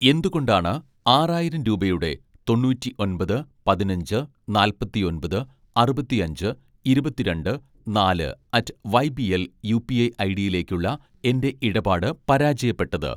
എന്തുകൊണ്ടാണ് ആറായിരം രൂപയുടെ തൊണ്ണൂറ്റിഒന്‍പത് പതിനഞ്ച് നാല്‍പത്തിഒന്‍പത് അറുപത്തിഅഞ്ച് ഇരുപത്തിരണ്ട്‌ നാല് അറ്റ് വൈബിഎൽ യുപിഐ ഐഡിയിലേക്കുള്ള എൻ്റെ ഇടപാട് പരാജയപ്പെട്ടത്